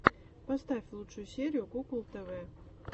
поставь лучшую серию кукол тв